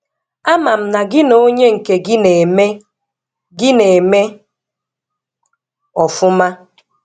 Ama m na gị na onye nke gị na-eme gị na-eme ọfụma?